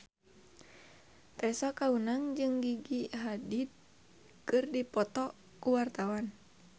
Tessa Kaunang jeung Gigi Hadid keur dipoto ku wartawan